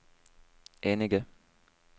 enige